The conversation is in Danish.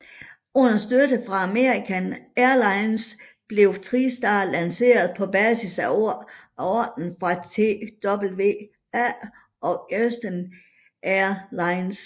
Uden støtte fra American Airlines blev TriStar lanceret på basis af ordrer fra TWA og Eastern Air Lines